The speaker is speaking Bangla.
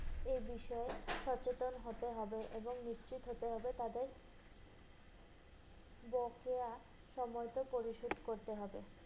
এই বিষয়ে সচেতন হতে হবে এবং নিশ্চিত হতে হবে, তবে বকেয়া সময়মত পরিশোধ করতে হবে।